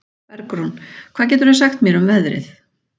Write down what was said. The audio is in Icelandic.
Bergrún, hvað geturðu sagt mér um veðrið?